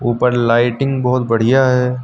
ऊपर लाइटिंग बहुत बढ़िया है।